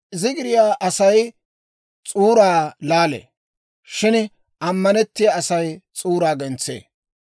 Zigiriyaa Asay s'uuraa laalee; shin ammanettiyaa Asay s'uuraa gentsee.